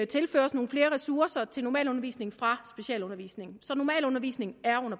tilføres nogle flere ressourcer til normalundervisningen fra specialundervisningen så normalundervisningen